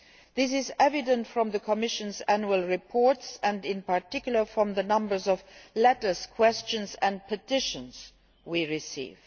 This is evident from the Commission's annual reports and in particular from the numbers of letters, questions and petitions we receive.